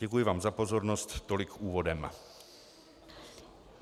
Děkuji vám za pozornost, tolik úvodem.